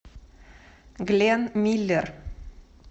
глен миллер